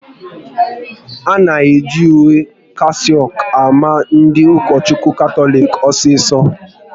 A na-eji uwe kasaouk ama ndị Ukochukwu Katọlik osiso